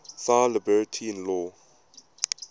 thy liberty in law